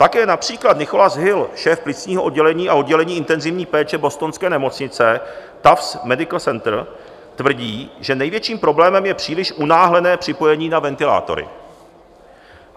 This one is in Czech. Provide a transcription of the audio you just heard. Také například Nicholas Hill, šéf plicního oddělení a oddělení intenzivní péče bostonské nemocnice Tufts Medical Center, tvrdí, že největším problémem je příliš unáhlené připojení na ventilátory.